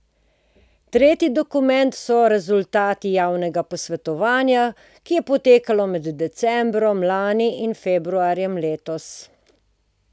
Tretji dokument so rezultati javnega posvetovanja, ki je potekalo med decembrom lani in februarjem letos.